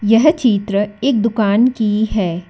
यह चित्र एक दुकान की है।